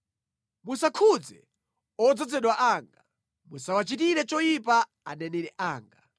“Musakhudze odzozedwa anga; musawachitire choyipa aneneri anga.”